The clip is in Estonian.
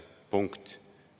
Punkt.